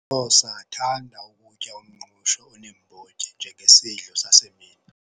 Xhosa athanda kutya umngqusho oneembotyi njengesidlo sasemini.